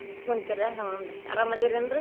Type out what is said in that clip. ಕುಂತ್ರಿರಾ ಹುನ್ರೀ ಆರಾಮ್ ಅದಿನೇನ್ರೀ